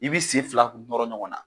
I bɛ sen fila nɔrɔ ɲɔgɔn na.